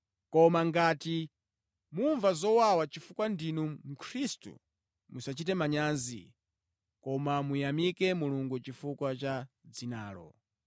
koma ngati mumva zowawa chifukwa ndinu Mkhristu, musachite manyazi, koma muyamike Mulungu chifukwa cha dzinalo.